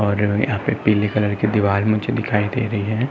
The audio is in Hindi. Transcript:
और यहाँ पर पीले कलर की दीवार मुझे दिखाई दे रही है।